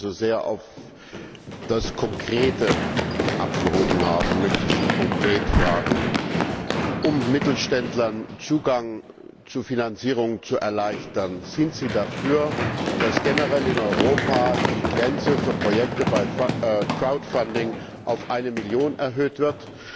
Weil Sie so sehr auf das Konkrete abgehoben haben, möchte ich Sie konkret fragen Um Mittelständlern Zugang zu Finanzierungen zu erleichtern, sind Sie dafür, dass generell in Europa die Grenze für Projekte bei auf eine Million erhöht wird?